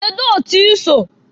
Kedụ otu i so?